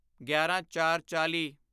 ਗਿਆਰਾਂਚਾਰਚਾਲ੍ਹੀ